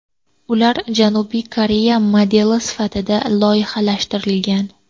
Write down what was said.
Ular Janubiy Koreya modeli asosida loyihalashtirilgan.